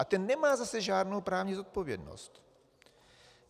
A ten nemá zase žádnou právní zodpovědnost.